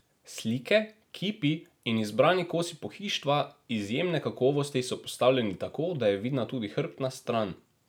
Slike, kipi in izbrani kosi pohištva izjemne kakovosti so postavljeni tako, da je vidna tudi hrbtna stran.